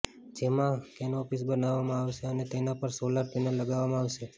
જેમાં કેનોપીઝ બનાવવામાં આવશે અને તેના પર સોલાર પેનલ લગાવવામાં આવશે